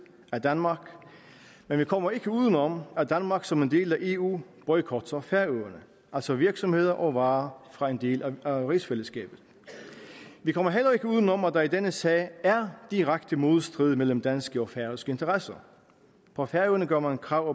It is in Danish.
af danmark men vi kommer ikke udenom at danmark som en del af eu boykotter færøerne altså virksomheder og varer fra en del af rigsfællesskabet vi kommer heller ikke udenom at der i denne sag er direkte modstrid mellem danske og færøske interesser på færøerne gør man krav